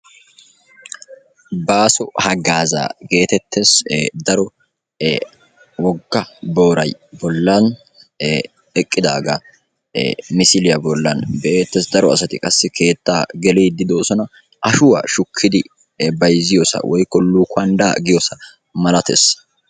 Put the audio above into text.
Baaso haggaazaa geetettees. Daro wogga booray bollan eqqidaagaa misiliya bollan be'eettees. Daro asati qassi keettaa geliiddi de'oosona. Ashuwa shukkidi bayzziyosaa woykko luukanddaa giyosaa malatees.